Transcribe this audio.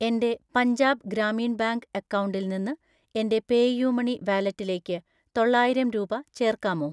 എൻ്റെ പഞ്ചാബ് ഗ്രാമീൺ ബാങ്ക് അക്കൗണ്ടിൽ നിന്ന് എൻ്റെ പേയുമണി വാലറ്റിലേക്ക് തൊള്ളായിരം രൂപ ചേർക്കാമോ?